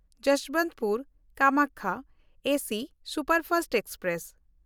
ᱡᱚᱥᱵᱚᱱᱛᱯᱩᱨ–ᱠᱟᱢᱟᱠᱭᱟ AC superfast express